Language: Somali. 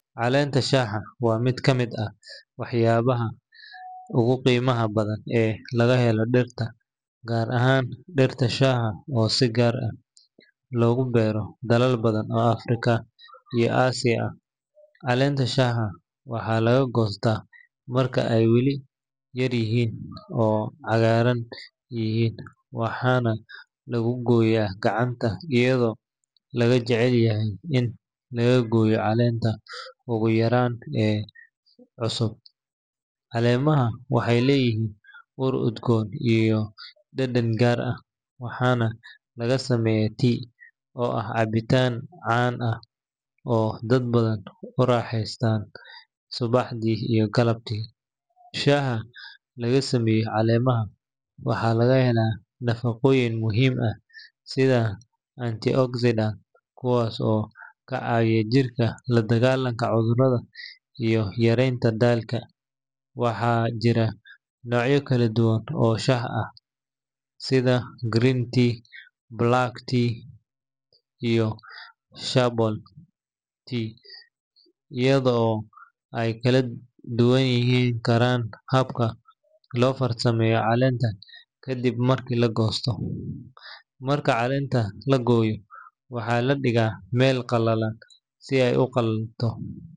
Caleenta shaaha waa mid ka mid ah waxyaabaha ugu qiimaha badan ee laga helo dhirta, gaar ahaan dhirta shaaha oo si gaar ah loogu beero dalal badan oo Afrika iyo Aasiya ah. Caleenta shaaha waxaa laga goostaa marka ay weli yaryihiin oo cagaaran yihiin, waxaana lagu gooyaa gacanta iyadoo laga jecel yahay in la gooyo caleenta ugu sarreysa ee cusub. Caleemahan waxay leeyihiin ur udgoon iyo dhadhan gaar ah, waxaana laga sameeyaa tea oo ah cabitaan caan ah oo dad badan ku raaxeystaan subaxdii iyo galabtii. Shaaha laga sameeyo caleemahan waxaa laga helaa nafaqooyin muhiim ah sida antioxidants, kuwaas oo ka caawiya jirka la dagaallanka cudurrada iyo yareynta daalka. Waxaa jira noocyo kala duwan oo shaah ah sida green tea, black tea, iyo herbal tea, iyadoo ay kala duwanaan karaan habka loo farsameeyo caleemaha kadib marka la goosto. Marka caleenta la gooyo, waxaa la dhigaa meel qalalan si ay u qalato.